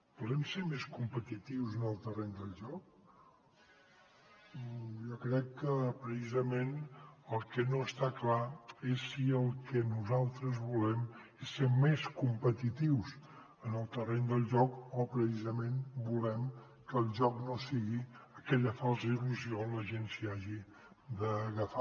volem ser més competitius en el terreny del joc jo crec que precisament el que no està clar és si el que nosaltres volem és ser més competitius en el terreny del joc o precisament volem que el joc no sigui aquella falsa il·lusió on la gent s’hi hagi d’agafar